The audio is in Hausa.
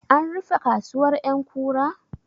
An rufe kasuwar ƴankura?